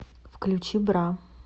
включи бра